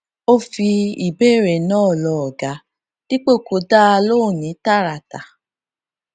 ó fi ìbéèrè náà lọ ọga dípò kó dá a lóhùn ní tààràtà